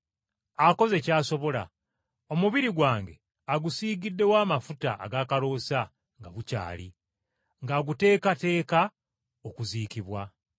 Akoze ky’asobola, omubiri gwange agusiigiddewo amafuta ag’akaloosa nga bukyali, ng’aguteekateeka okuziikibwa.